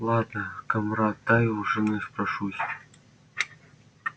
ладно камрад дай у жены спрошусь